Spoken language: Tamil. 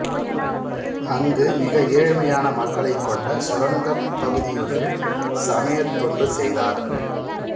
அங்கு மிக ஏழ்மையான மக்களைக் கொண்ட சுரங்கப் பகுதியொன்றில் சமயத் தொண்டு செய்தார்